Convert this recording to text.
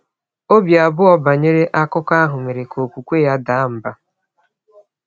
Obi abụọ banyere akụkọ ahụ mere ka okwukwe ya daa mbà.